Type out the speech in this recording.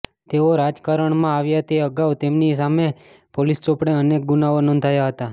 તેઓ રાજકારણમાં આવ્યા તે અગાઉ તેમની સામે પોલીસ ચોપડે અનેક ગુનાઓ નોંધાયા હતા